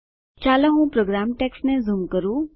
ચાલો હું પ્રોગ્રામ ટેક્સ્ટને ઝૂમ કરું